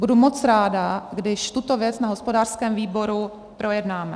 Budu moc ráda, když tuto věc na hospodářském výboru projednáme.